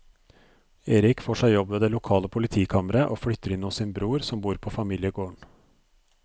Erik får seg jobb ved det lokale politikammeret og flytter inn hos sin bror som bor på familiegården.